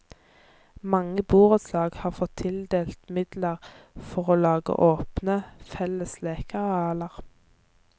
Mange borettslag har fått tildelt midler for å lage åpne, felles lekearealer.